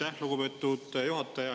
Aitäh, lugupeetud juhataja!